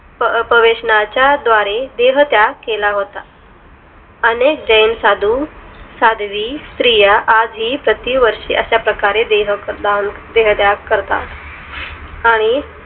पवेशनाच्या द्वारे देह त्याग केला होता अनेक जैन साधू साध्वी स्त्रिया आजही प्रति वर्ष अशा प्रकारे देह दान देह त्याग करतात आणि